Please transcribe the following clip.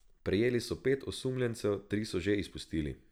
Prijeli so pet osumljencev, tri so že izpustili.